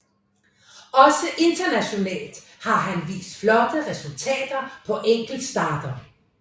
Også internationalt har han vist flotte resultater på enkeltstarter